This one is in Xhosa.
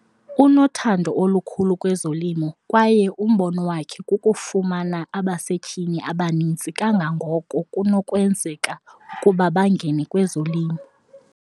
Unothando olukhulu kwezolimo kwaye umbono wakhe kukufumana abasetyhini abaninzi kangangoko kunokwenzeka ukuba bangene kwezolimo.